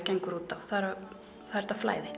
gengur út á það er þetta flæði